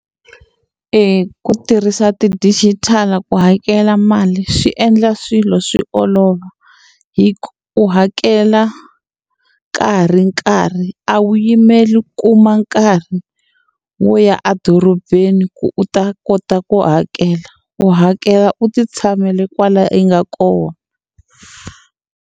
Ku tirhisa ti digital ku hakela mali swi endla swilo swi olova hi ku u hakela ka ha ri nkarhi a wu yimeli ku ma nkarhi wo ya edorobeni ku u ta kota ku hakela u hakela u ti tshamele kwale u nga kona.